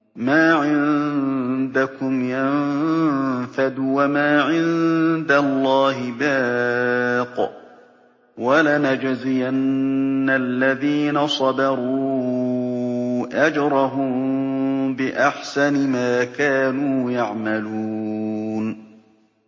مَا عِندَكُمْ يَنفَدُ ۖ وَمَا عِندَ اللَّهِ بَاقٍ ۗ وَلَنَجْزِيَنَّ الَّذِينَ صَبَرُوا أَجْرَهُم بِأَحْسَنِ مَا كَانُوا يَعْمَلُونَ